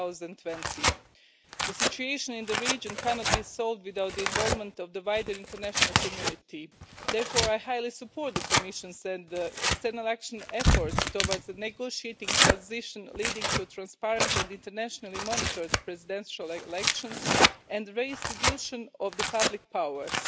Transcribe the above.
2020. The situation in the region cannot be solved without the involvement of the wider international community, therefore I highly support the Commission's external action efforts towards the negotiating of a transition leading to transparent and internationally monitored presidential elections, and the restitution of the public powers.